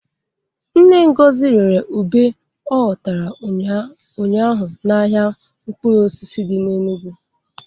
Nne Ngozi rere ube ọ ghotara ụnyaahụ n'ahịa mkpụrụ osisi dị n'Enugu.